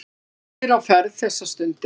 Margir á ferð þessa stundina.